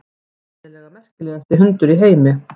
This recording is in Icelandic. Sennilega merkilegasti hundur í heimi.